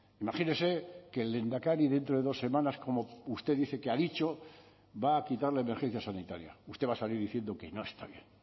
imagínese que el lehendakari dentro de dos semanas como usted dice que ha dicho va a quitar la emergencia sanitaria usted va a salir diciendo que no está bien